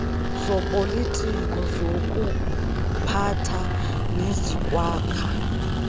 zopolitiko zokuphatha nezokwakha